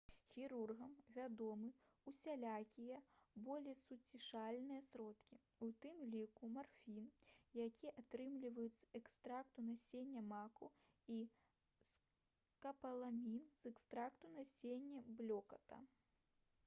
хірургам вядомы ўсялякія болесуцішальныя сродкі у тым ліку марфін які атрымліваюць з экстракту насення маку і скапаламін з экстракту насення блёкату